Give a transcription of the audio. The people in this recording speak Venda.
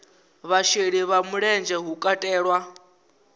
vhasheli vha mulenzhe hu katelwa